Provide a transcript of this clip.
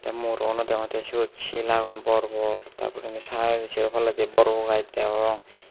te murogunot degongotte siyot sil agon bor bor ta porendi sar sero palladi bor bor gajch degong.